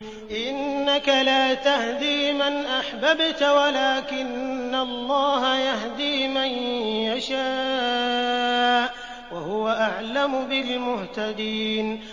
إِنَّكَ لَا تَهْدِي مَنْ أَحْبَبْتَ وَلَٰكِنَّ اللَّهَ يَهْدِي مَن يَشَاءُ ۚ وَهُوَ أَعْلَمُ بِالْمُهْتَدِينَ